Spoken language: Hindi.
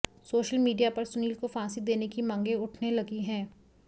सोशल मीडिया पर सुनील को फांसी देने की मांगें उठने लगी है